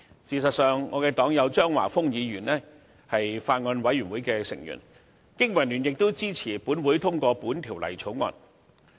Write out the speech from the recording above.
事實上，我的黨友張華峰議員是有關法案委員會成員，經民聯亦支持本會通過《條例草案》。